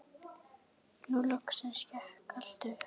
Nú loksins gekk allt upp.